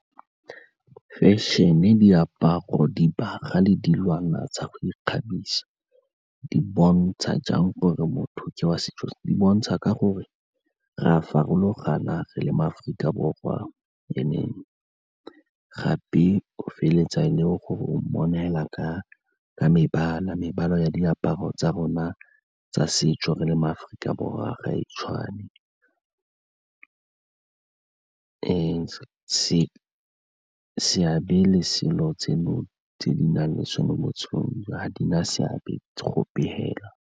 Fashion-e, diaparo, dibagwa le dilwana tsa go ikgabisa di bontsha jang gore motho ke wa setso? Di bontsha ka gore re a farologana re le mo Aforika Borwa and-e gape o feleletsa e le gore o mmona fela ka mebala, mebala ya diaparo tsa rona tsa setso re le ma-Aforika Borwa ga e tshwane seabe le selo tseno tse di na le sone ga di na seabe gope fela.